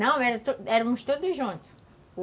Não, éramos todos juntos.